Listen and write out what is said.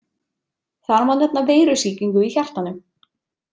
Þar má nefna veirusýkingu í hjartanu.